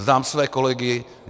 Znám své kolegy.